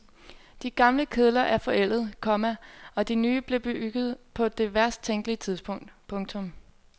De gamle kedler er forældede, komma og de nye blev bygget på det værst tænkelige tidspunkt. punktum